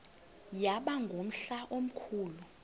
yaba ngumhla omkhulu